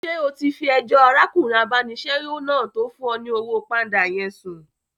Ṣé o ti fi ẹjọ́ arákùnrin abánisẹ́wò náà tó fún ọ ní owó pánda yẹn sùn